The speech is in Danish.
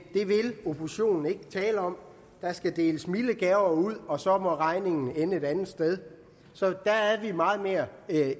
det vil oppositionen ikke tale om der skal deles milde gaver ud og så må regningen ende et andet sted så der er vi meget mere